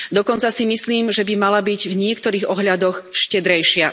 Dokonca si myslím, že by mala byť v niektorých ohľadoch štedrejšia.